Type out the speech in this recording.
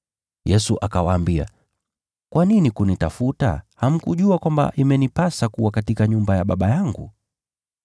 Yesu akawaambia, “Kwa nini kunitafuta? Hamkujua kwamba imenipasa kuwa katika nyumba ya Baba yangu?”